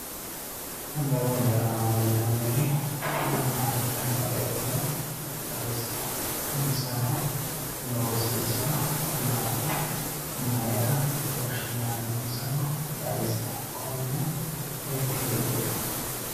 Addawu agarano yinaanniri maama heedhanoretiro xaawisie insano loosinsa maati maayira woshinaninsaro xaawisie konne seekittee kuli